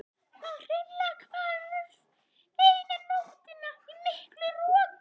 Það hreinlega hvarf eina nóttina í miklu roki.